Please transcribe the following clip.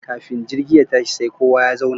Kafin jirgi ya tashi sai kowa ya zauna